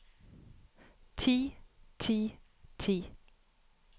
ti ti ti